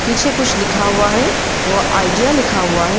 पीछे कुछ लिखा हुआ है वो आइडिया लिखा हुआ है।